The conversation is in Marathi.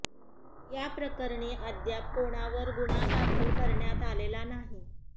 या प्रकरणी अद्याप कोणावर गुन्हा दाखल करण्यात आलेला नाही